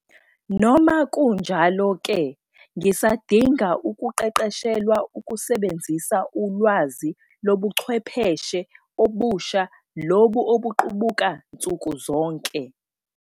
Noma kunjalo-ke ngisadinga ukuqeqeshelwa ukusebenzisa ulwazi lobuchwepheshe obusha lobu obuqubuka nsuku zonke.